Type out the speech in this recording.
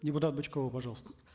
депутат бычкова пожалуйста